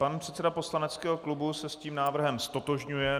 Pan předseda poslaneckého klubu se s tím návrhem ztotožňuje.